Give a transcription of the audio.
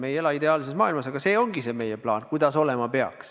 Me ei ela ideaalses maailmas, aga see ongi meie plaan, kuidas olema peaks.